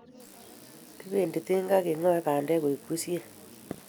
Kipendi tinga kengae bandek koi bushek